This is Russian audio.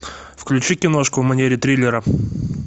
включи киношку в манере триллера